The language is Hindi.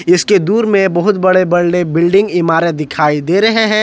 इसके दूर में बहुत बड़े बड़े बिल्डिंग इमारत दिखाई दे रहे हैं।